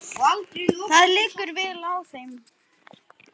Það liggur vel á þeim.